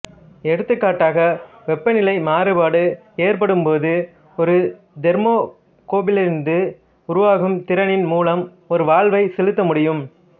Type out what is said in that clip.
எடுத்துக்காட்டாக வெப்பநிலை மாறுபாடு ஏற்படும்போது ஒரு தெர்மோகப்பிளிலிருந்து உருவாகும் திறனின் மூலம் ஒரு வால்வை செயல்படுத்த முடியும்